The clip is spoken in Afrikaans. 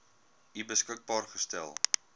u beskikbaar gestel